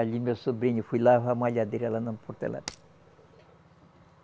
Ali meu sobrinho, foi lavar a malhadeira lá na porta ela